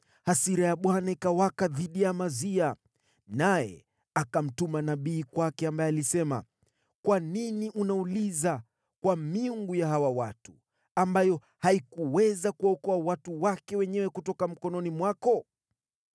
Hasira ya Bwana ikawaka dhidi ya Amazia, naye akamtuma nabii kwake, ambaye alisema: “Kwa nini unauliza kwa miungu ya hawa watu, ambayo haikuweza kuwaokoa watu wake wenyewe kutoka mkononi mwako?”